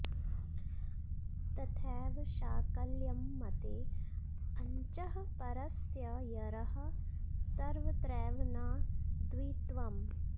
तथैव शाकल्यंमते अचंः परस्य यरः सर्वत्रैव न द्वित्वंम्